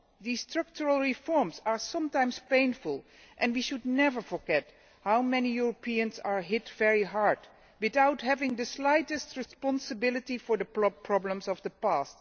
The structural reforms are sometimes painful and we should never forget how many Europeans are hit very hard without having the slightest responsibility for the problems of the past.